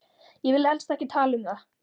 Ég vil helst ekki tala um það.